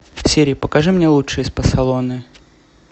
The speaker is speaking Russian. сири покажи мне лучшие спа салоны